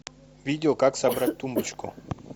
видео как собрать тумбочку